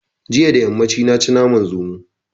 Jiya da yammaci na ci naman zomo